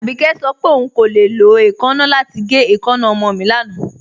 Abíkẹ̀ sọ pé ọún kò le lọ èèkánna lati gẹ̀ èèkánna ọmọ mi lánà.